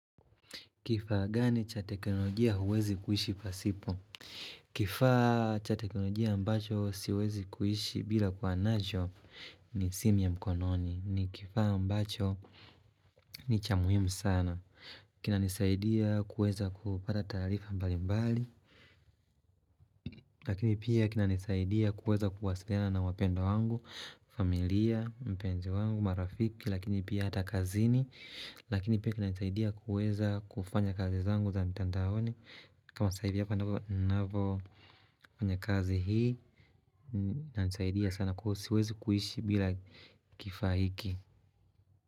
Kifaa gani cha teknolojia huwezi kuishi pasipo? Kifaa cha teknolojia ambacho siwezi kuishi bila kuwa nacho ni simu ya mkononi. Ni kifaa ambacho ni cha muhimu sana. Kinanisaidia kuweza kupata taarifa mbalimbali. Lakini pia kinanisaidia kuweza kuwasiliana na wapendwa wangu, familia, mpenzi wangu, marafiki. Lakini pia hata kazini. Lakini pia kinanisaidia kuweza kufanya kazi zangu za mtandaoni. Kama saa hivi hapa nnavofanya kazi hii inanisaidia sana kwa hiyo siwezi kuishi bila kifaa hiki.